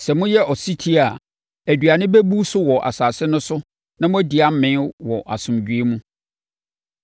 Sɛ moyɛ ɔsetie a, aduane bɛbu so wɔ asase no so na moadi amee wɔ asomdwoeɛ mu.